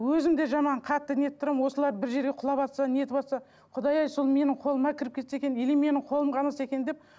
өзім де жаман қатты не етіп тұрамын осылар бір жерге құлаватса нетыватса құдай ай сол менің қолыма кіріп кетсе екен или менің қолым қанаса екен деп